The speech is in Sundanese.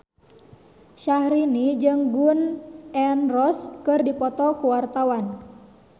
Syaharani jeung Gun N Roses keur dipoto ku wartawan